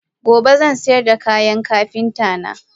Gobe zansayarda kayan Kapinta na.